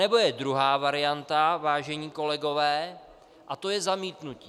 Anebo je druhá varianta, vážení kolegové, a to je zamítnutí.